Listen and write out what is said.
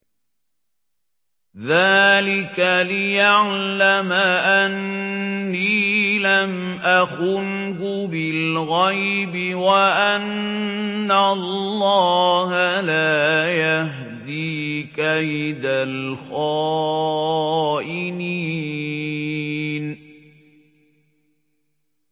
ذَٰلِكَ لِيَعْلَمَ أَنِّي لَمْ أَخُنْهُ بِالْغَيْبِ وَأَنَّ اللَّهَ لَا يَهْدِي كَيْدَ الْخَائِنِينَ